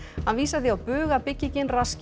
hann vísar því að bug að byggingin raski